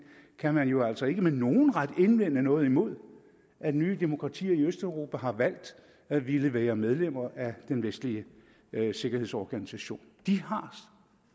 kan man jo altså ikke med nogen ret indvende noget imod at nye demokratier i østeuropa har valgt at ville være medlemmer af den vestlige sikkerhedsorganisation de har